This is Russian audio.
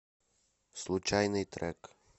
случайный трек